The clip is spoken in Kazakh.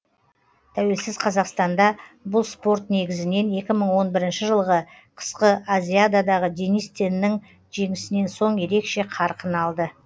тәуелсіз қазақстанда бұл спорт негізінен екі мың он бірінші жылғы қысқы азиададағы денис теннің жеңісінен соң ерекше қарқын алды